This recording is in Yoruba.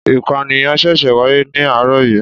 Ìpànìyàn ṣẹ̀ṣẹ̀ wáyé ní àárọ̀ yìí